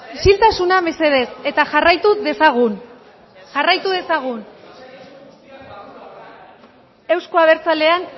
isiltasuna mesedez eta jarraitu dezagun